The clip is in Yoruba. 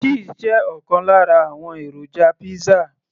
cheese jẹ́ ọ̀kan lára àwọn èròjà pizza